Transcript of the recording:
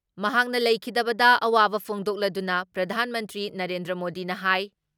ꯃꯍꯥꯛꯅ ꯂꯩꯈꯤꯗꯕꯗ ꯑꯋꯥꯕ ꯐꯣꯡꯗꯣꯛꯂꯗꯨꯅ ꯄ꯭ꯔꯙꯥꯟ ꯃꯟꯇ꯭ꯔꯤ ꯅꯔꯦꯟꯗ꯭ꯔ ꯃꯣꯗꯤꯅ ꯍꯥꯏ